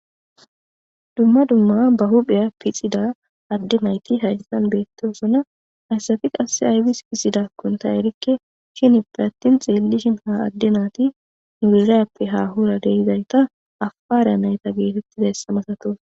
dumma dumma ba hupheya pixida adde nayti hayssan beettosonna hayssafi qasse aybis pixidakkonta erikke shini pe attin xeellishin ha adde naati nurirayappe hahura deizayta afara nayta geetettida ssamasatos